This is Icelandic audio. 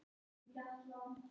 Nú hlær mamma.